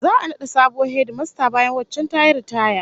Za'a nada sabuwar hedimasta bayan waccan tayi ritaya